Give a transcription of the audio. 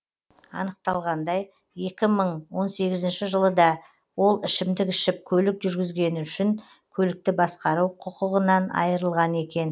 анықталғандай екі мың он сегізінші жылы да ол ішімдік ішіп көлік жүргізгені үшін көлікті басқару құқығынан айырылған екен